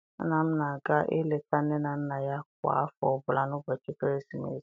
Nna m na-aga eleta nne na nna ya kwa afọ ọbula n'ụbọchị ekeresimesi.